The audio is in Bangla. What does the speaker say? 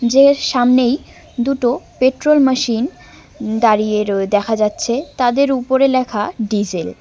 যের সামনেই দুটো পেট্রোল মেশিন দাঁড়িয়ে রয়ে দেখা যাচ্ছে। তাদের উপরে লেখা ডিজেল ।